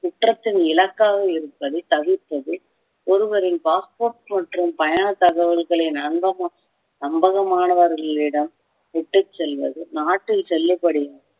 குற்றத்தின் இலக்காக இருப்பதை தவிர்ப்பது ஒருவரின் passport மற்றும் பயண தகவல்களின் அங்கம் நம்பகமானவர்களிடம் விட்டுச் செல்வது நாட்டில் செல்லுபடியும்